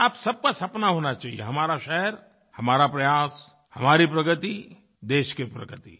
और आप सब का सपना होना चाहिए हमारा शहर हमारा प्रयास हमारी प्रगतिदेश की प्रगति